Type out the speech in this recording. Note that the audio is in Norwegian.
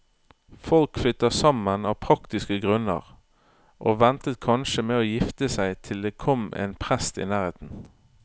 Folk flyttet sammen av praktiske grunner, og ventet kanskje med å gifte seg til det kom en prest i nærheten.